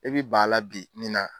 I bi ban a la bi nin na.